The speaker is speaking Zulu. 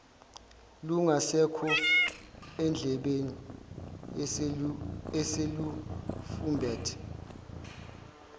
lungasekho endlebeni eselufumbethe